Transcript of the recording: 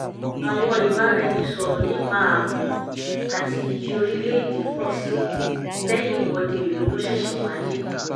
àwọn ìbára ẹni sọ̀rọ̀ nípa ààbò àti iyì orílẹ̀ èdè pọ̀ sí i lẹ́yìn ìwọ́de ìlú tó ṣẹ̀ṣẹ̀ wáyé